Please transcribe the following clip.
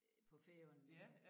Øh på Færøerne